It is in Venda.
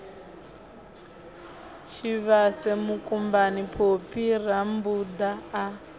tshivhase mukumbani phophi rammbuda a